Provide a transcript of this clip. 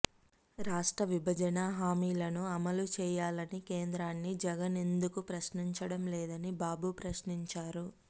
రాష్ట్ర విభజన హామీలను అమలు చేయాలని కేంద్రాన్ని జగన్ ఎందుకు ప్రశ్నించడం లేదని బాబు ప్రశ్నించారు